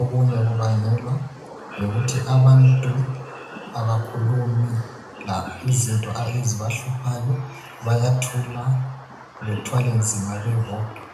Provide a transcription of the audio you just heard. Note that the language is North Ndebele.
okunye kubangelwa yikuthi abantu abakhulumi izinto ezibahluphayo bayathula bethwala nzima bebodwa.